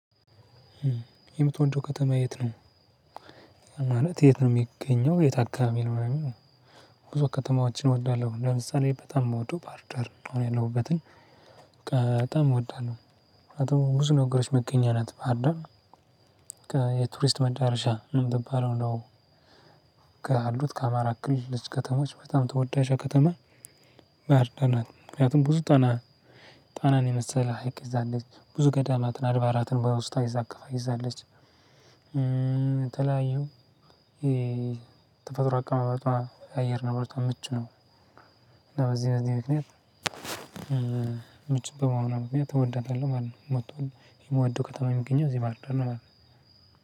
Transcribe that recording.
የምትወደው ከተማ የት ነው? ማለት የት ነው የሚገኘው የት አካባቢ ነው? ወይም ብዙ ከተማዎችን እወዳለሁ ለምሳሌ በጣም የምወደው ባርደር ነው አሁን ያለሁበትን በጣም እወዳለሁ። ብዙ ነገሮች መገኛ ናት ባህርዳር የቱሪስት መዳረሻ እምትባለው ነው። ካሉት ከአማራ አክል ልዩ ከተሞች በጣም ተወዳጆአ ከተማ። ባህርዳር ናት ምክንያቱም ብዙ ጣና ጣናን የመሰለ ሀይቅ ይዛለች ብዙ ገዳማትን አድባራትን በውስጧ አቅፋ ይዛለች። የተለያዩ የተፈጥሮ አቀማመጧ አየር ንብረቶ ምቹ ነው። በዚህ በዚህ ምክንያት ምቹ በመሆኑ ምክንያት እወዳታለሁ ማለት ነው። መጥቶን የምወደው ከተማ የሚገኘው እዚህ ባርዳር ነው ማለት ነው።